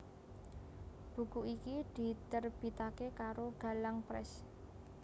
Buku iki diterbitake karo Galang Press